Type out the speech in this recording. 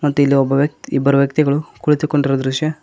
ಮತ್ತೆ ಇಲ್ಲಿ ಒಬ್ಬ ವ್ಯಕ್ತಿ ಇಬ್ಬರು ವ್ಯಕ್ತಿಗಳು ಕುಳಿತುಕೊಂಡಿರುವ ದೃಶ್ಯ.